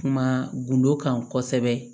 Kuma gundo kan kosɛbɛ